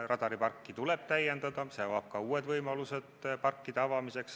Radariparki tuleb täiendada, see avab ka uued võimalused parkide avamiseks.